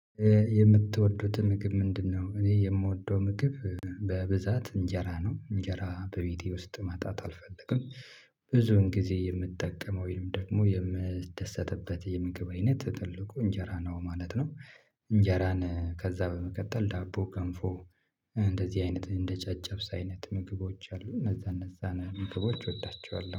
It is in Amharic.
የምትወዱት ምግብ ምንድነ፤ እኔ የምወደው ምግብ በብዛት እንጀራ ነው፤ እንጀራ በቤቴ ውስጥ ማጣት አልፈልግም፤ ብዙን ጊዜ የምትጠቀመው ወይም ደግሞ የምትደሰትበት የምግብ አይነት ትልቁ እንጀራ ነው ማለት ነው፤ እንጀራን ከዛ በመቀጠል ዳቦ፣ ከንፎ እንደዚህ አይነት እንደ ጨጨብሳ አይነት ምግቦች አሉ እነዛ እነዛን ምግቦች እወዳቸዋለሁ።